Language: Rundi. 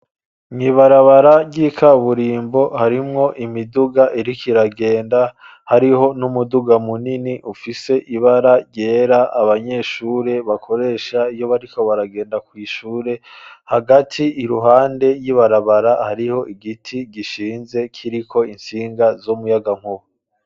Mw'ibarabara ry'ikaburimbo harimwo imiduga iriko iragenda, hariho n'umuduga munini ufise ibara ryera abanyeshure bakoresha iyo bariko baragenda kw'ishure hagati iruhande y'ibarabara hariho igiti gishinze kiriko intsinga z'umuyagankuba.